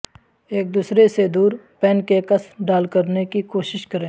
ایک دوسرے سے دور پینکیکس ڈال کرنے کی کوشش کریں